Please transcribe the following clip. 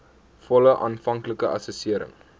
volle aanvanklike assessering